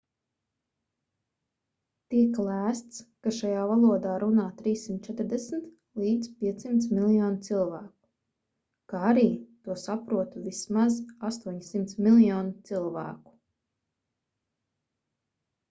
tiek lēsts ka šajā valodā runā 340-500 miljoni cilvēku kā arī to saprotu vismaz 800 miljoni cilvēku